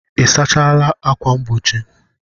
Ị sachala ákwà mgbochi?